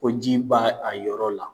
Ko ji b'a a yɔrɔ la.